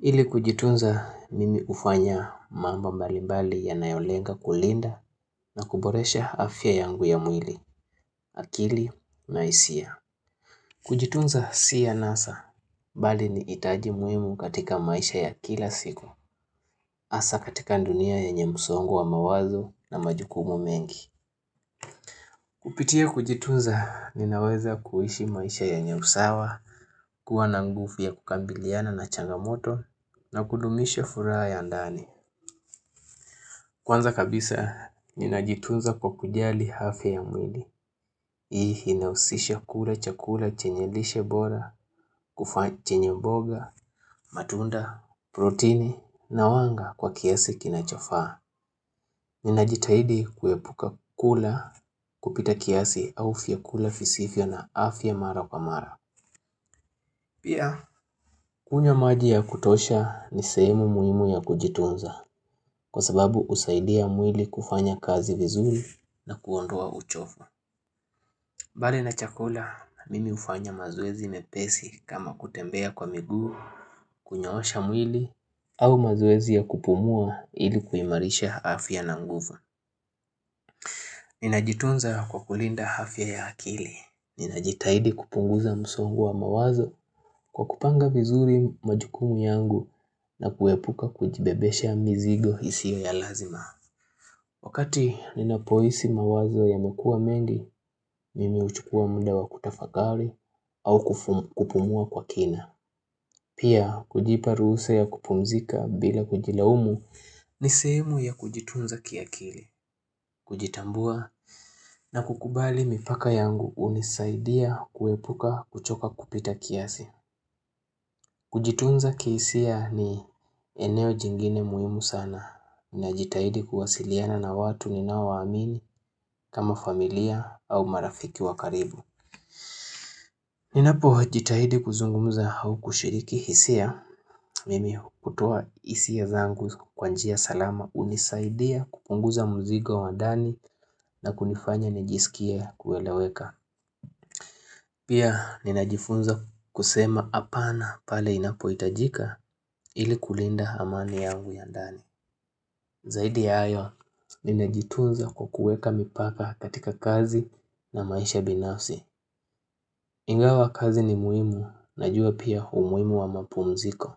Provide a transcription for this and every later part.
Ili kujitunza mimi ufanya mambo mbali mbali ya nayolenga kulinda na kuboresha afya yangu ya mwili, akili, naisia. Kujitunza si anasa, bali ni itaji muimu katika maisha ya kila siku. Asa katika ndunia yenye msongo wa mawazo na majukumu mengi. Kupitia kujitunza ninaweza kuhishi maisha yenye usawa, kuwa na ngufu ya kukambiliana na changamoto na kudumisha furaha ya ndani. Kwanza kabisa, ninajitunza kwa kujali afya ya mwili. Hii hinausisha kula chakula chenye lishe bora, kufa chenye mboga, matunda, protini na wanga kwa kiasi kinachofaa. Ninajitahidi kuepuka kula kupita kiasi au vya kula visivyo na afya mara kwa mara. Pia, kunywa maji ya kutosha ni sehemu muhimu ya kujitunza. Kwa sababu usaidia mwili kufanya kazi vizuri na kuondoa uchovu Bali na chakula, mimi ufanya mazoezi mepesi kama kutembea kwa miguu kunyoosha mwili au mazoezi ya kupumua ili kuimarisha afya na nguvu Ninajitunza kwa kulinda afya ya akili Ninajitahidi kupunguza msongo wa mawazo kwa kupanga vizuri majukumu yangu na kuepuka kujibebesha mizigo isiyo ya lazima Wakati nina poisi mawazo yamekuwa mengi, mimi uchukua muda wa kutafakari au kupumua kwa kina. Pia kujipa ruhusa ya kupumzika bila kujilaumu ni sehemu ya kujitunza kiakili, kujitambua na kukubali mipaka yangu unisaidia kuepuka kuchoka kupita kiasi. Kujitunza kihisia ni eneo jingine muhimu sana. Ninajitahidi kuwasiliana na watu ninaowa amini kama familia au marafiki wakaribu. Ninapo jitahidi kuzungumuza hau kushiriki hisia. Mimi hutoa hisia zangu kwa njia salama unisaidia kupunguza mzigo wa ndani na kunifanya nijisikie kueleweka. Pia ninajifunza kusema apana pale inapoitajika ili kulinda amani yangu ya ndani. Zaidi ya ayo, ninajitunza kukueka mipaka katika kazi na maisha binafsi. Ingawa kazi ni muimu, najua pia umuimu wa mapumziko.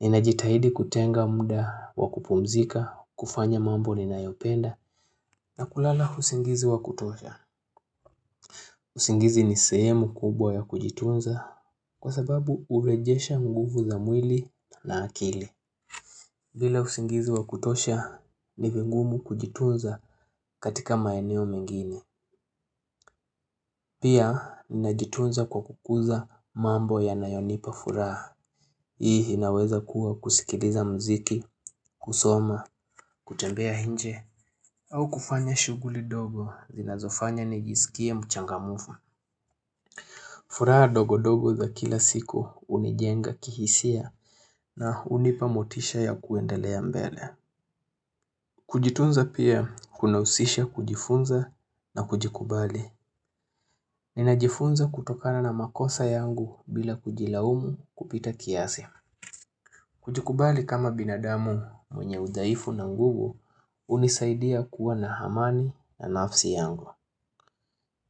Ninajitahidi kutenga muda wa kupumzika, kufanya mambo ninayopenda, na kulala husingizi wa kutosha. Usingizi ni sehemu kubwa ya kujitunza kwa sababu urejesha nguvu za mwili na akili. Bila usingizi wa kutosha ni vingumu kujitunza katika maeneo mengine. Pia, ninajitunza kwa kukuza mambo ya nayonipa furaha. Hii hinaweza kuwa kusikiliza mziki, kusoma, kutembea hinje, au kufanya shuguli dogo zinazofanya nijisikie mchangamufu. Furaha dogodogo za kila siku unijenga kihisia na unipamotisha ya kuendelea mbele. Kujitunza pia kuna usisha kujifunza na kujikubali. Ninajifunza kutokana na makosa yangu bila kujilaumu kupita kiasi. Kujikubali kama binadamu mwenye udhaifu na nguvu unisaidia kuwa na hamani na nafsi yangu.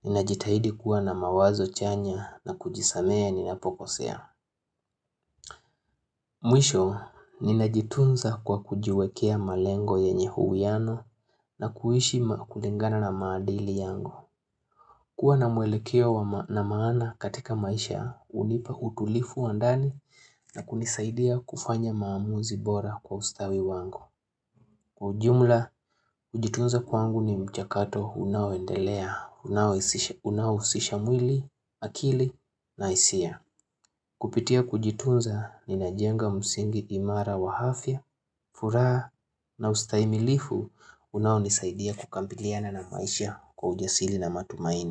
Ninajitahidi kuwa na mawazo chanya na kujisamee ninapokosea. Mwisho, ninajitunza kwa kujiwekea malengo yenye uwiano na kuishi kulingana na maadili yangu. Kuwa na mwelekeo na maana katika maisha, unipa utulifu wandani na kunisaidia kufanya maamuzi bora kwa ustawi wangu. Kwa ujumla, kujitunza kwangu ni mchakato unaoendelea, unaousisha mwili, akili, na isia. Kupitia kujitunza ni najenga msingi imara wa hafya, furaa na ustaimilifu unaonisaidia kukambiliana na maisha kwa ujasili na matumaini.